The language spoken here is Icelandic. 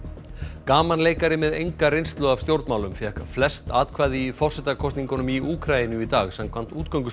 gamanleikari með enga reynslu af stjórnmálum fékk flest atkvæði í forsetakosningum í Úkraínu í dag samkvæmt